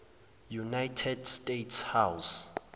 united states house